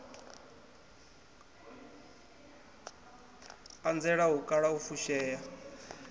anzela u kala u fushea